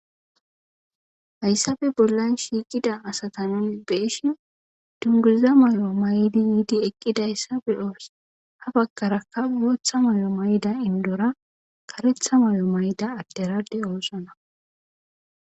Hayissappe bollanni shiqidda asata nuuni be'ishshinn duniguza mayo mayida yiddi eqidayissa beyos.haa bagaraka boththa mayo mayida iniddora kareththa mayo mayida adera de'ossona.